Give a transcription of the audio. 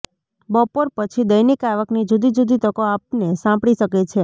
બપોર પછી દૈનિક આવકની જુદી જુદી તકો આપને સાંપડી શકે છે